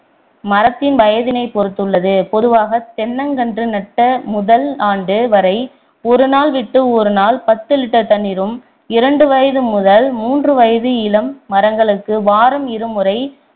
மரத்தின் வயதினைப் பொறுத்துள்ளது பொதுவாக தென்னைங்கன்று நட்ட முதல் ஆண்டு வரை ஒரு நாள் விட்டு ஒரு நாள் பத்து litre தண்ணீரும் இரண்டு வயது முதல் மூன்று வயது இளம் மரங்களுக்கு வாரம் இரு முறை